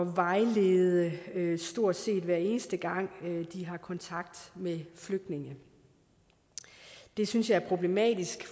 vejlede stort set hver eneste gang de har kontakt med flygtninge det synes jeg er problematisk